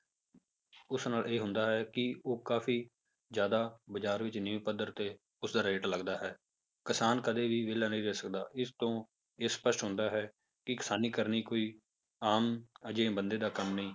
ਉਸ ਨਾਲ ਇਹ ਹੁੰਦਾ ਹੈ ਕਿ ਉਹ ਕਾਫ਼ੀ ਜ਼ਿਆਦਾ ਬਾਜ਼ਾਰ ਵਿੱਚ ਨੀਵੇਂ ਪੱਧਰ ਤੇ ਉਸਦਾ rate ਲੱਗਦਾ ਹੈ, ਕਿਸਾਨ ਕਦੇ ਵੀ ਵਿਹਲਾ ਨਹੀਂ ਰਹਿ ਸਕਦਾ, ਇਸ ਤੋਂ ਇਹ ਸਪਸ਼ਟ ਹੁੰਦਾ ਹੈ ਕਿ ਕਿਸਾਨੀ ਕਰਨੀ ਕੋਈ ਆਮ ਜਿਹੇ ਬੰਦੇ ਦਾ ਕੰਮ ਨਹੀਂ